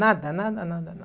Nada, nada, nada, nada.